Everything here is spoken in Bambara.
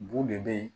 Bu de be yen